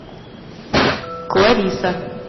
клариса